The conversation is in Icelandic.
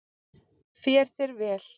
Fer þér vel!